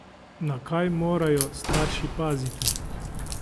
Na kaj morajo starši paziti?